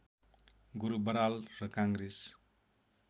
गुरु बराल र काङ्ग्रेस